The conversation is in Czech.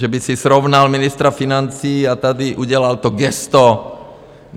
Že by si srovnal ministra financí a tady udělal to gesto.